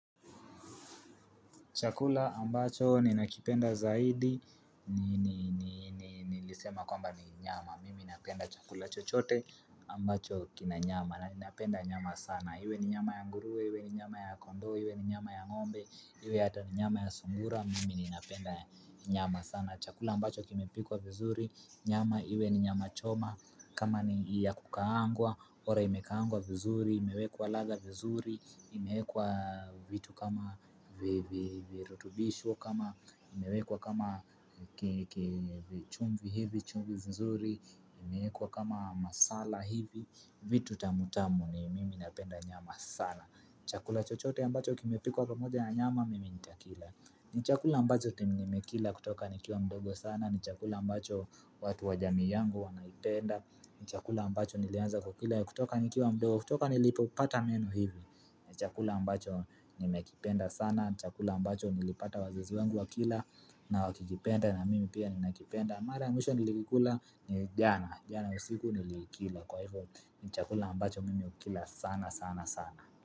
Chakula ambacho ninakipenda zaidi, nilisema kwamba ni nyama, mimi napenda chakula chochote ambacho kina nyama, napenda nyama sana. Iwe ni nyama ya nguruwe, iwe ni nyama ya kondoo, iwe ni nyama ya ng'ombe, iwe hata ni nyama ya sungura, mimi ninapenda nyama sana. Na chakula ambacho kimepikwa vizuri, nyama iwe ni nyama choma kama ni ya kukaangwa, bora imekaangwa vizuri, imewekwa ladha vizuri imewekwa vitu kama virutubisho, kama imewekwa kama chumvi hivi chumvi vizuri imewekwa kama masala hivi, vitu tamu tamu ni mimi napenda nyama sana Chakula chochote ambacho kimepikwa kamoja na nyama mimi nitakila ni chakula ambacho time nimekila kutoka nikiwa mdogo sana ni chakula ambacho watu wa jamii yangu wanaipenda ni chakula ambacho nilianza kukila kutoka nikiwa mdogo kutoka nilipopata meno hivi ni chakula ambacho nimekipenda sana ni chakula ambacho nilipata wazazi wangu wakila na wakikipenda na mimi pia ninakipenda Mara mwisho nilikikula ni jana jana usiku nilikila kwa hivyo ni chakula mbacho mimi ukila sana sana sana.